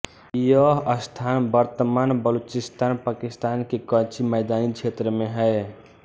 यह स्थान वर्तमान बलूचिस्तान पाकिस्तान के कच्ची मैदानी क्षेत्र में है